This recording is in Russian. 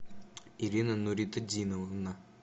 ирина нуритдиновна